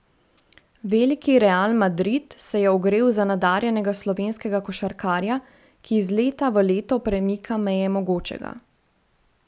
Veliki Real Madrid se je ogrel za nadarjenega slovenskega košarkarja, ki iz leta v leto premika meje mogočega.